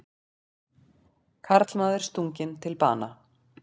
Karlmaður stunginn til bana